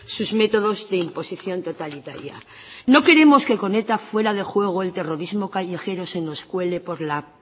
sus métodos de imposición totalitaria no queremos que con eta fuera de juego el terrorismo callejero se nos cuele por la